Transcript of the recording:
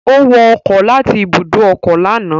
Ó wọ ọkọ̀ láti ibùdó ọkọ̀ lánàá